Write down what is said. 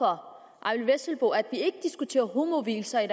herre eyvind vesselbo at vi ikke diskuterer homovielser i